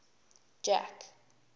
jack